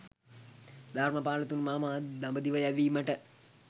ධර්‍මපාල තුමා මා දඹදිව යැවීමට